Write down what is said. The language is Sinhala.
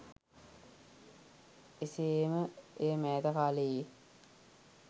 එසේ ම එය මෑත කාලයේ